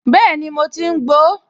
Bẹ́ẹ̀ni, mo ti ń gbo ó